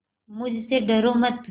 मुझसे डरो मत